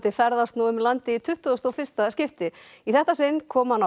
ferðast nú um landið í tuttugasta og fyrsta skipti í þetta sinn kom hann á